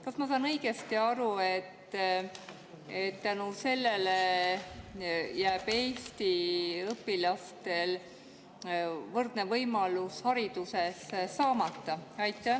Kas ma saan õigesti aru, et tänu sellele jääb eesti õpilastel võrdne võimalus haridust saada saamata?